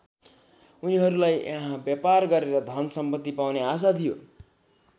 उनीहरूलाई यहाँ व्यापार गरेर धन सम्पत्ति पाउने आशा थियो।